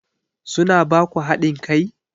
Su na ba ku haɗin kai?